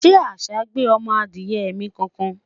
shey àṣà gbé ọmọ Adiye mi kankan?